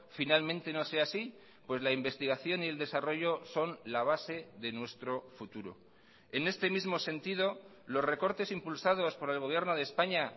finalmente no sea así pues la investigación y el desarrollo son la base de nuestro futuro en este mismo sentido los recortes impulsados por el gobierno de españa